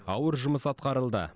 ауыр жұмыс атқарылды